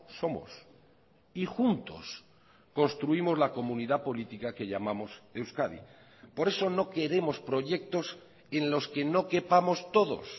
somos y juntos construimos la comunidad política que llamamos euskadi por eso no queremos proyectos en los que no quepamos todos